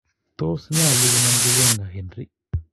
Tos nyolu konamchi wenger Henry ii?